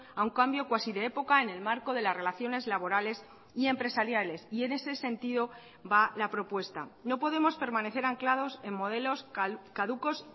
a un cambio cuasi de época en el marco de las relaciones laborales y empresariales y en ese sentido va la propuesta no podemos permanecer anclados en modelos caducos